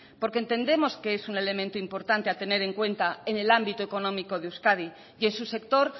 porque entendemos que es un elemento importante a tener en cuenta en el ámbito económico de euskadi y en su sector